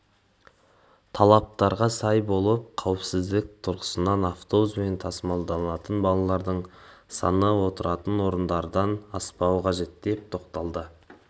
талаптарға сай болып қауіпсіздік тұрғысында автобуспен тасымалданатын балалардың саны отыратын орындардан аспауы қажет деп тоқталды